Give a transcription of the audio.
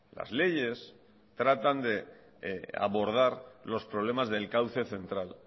las leyes tratan de abordar los problemas del cauce central